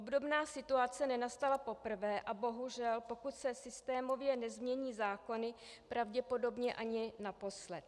Obdobná situace nenastala poprvé a bohužel, pokud se systémově nezmění zákony, pravděpodobně ani naposled.